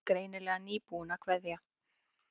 Greinilega nýbúin að kveðja.